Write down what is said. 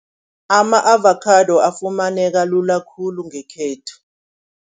Ama-avakhado afumaneka lula khulu ngekhethu.